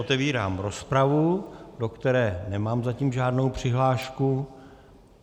Otevírám rozpravu, do které nemám zatím žádnou přihlášku.